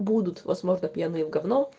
будут возможно пьяные в говно